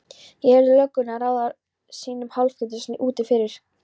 Ég heyrði löggurnar ráða ráðum sínum hálfhvíslandi úti fyrir.